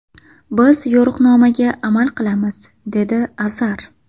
Biz yo‘riqnomaga amal qilamiz”, dedi Azar.